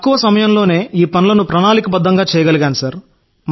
తక్కువ కాలంలోనే ఈ పనులను ప్రణాళికాబద్దంగా చేయగలిగాం సార్